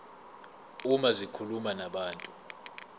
uma zikhuluma nabantu